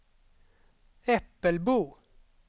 Äppelbo